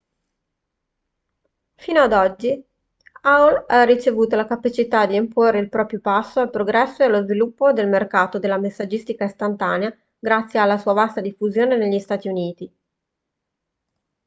fino ad oggi aol ha avuto la capacità di imporre il proprio passo al progresso e allo sviluppo del mercato della messaggistica istantanea grazie alla sua vasta diffusione negli stati uniti